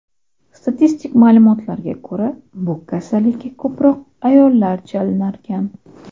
Statistik ma’lumotlarga ko‘ra, bu kasallikka ko‘proq ayollar chalinarkan.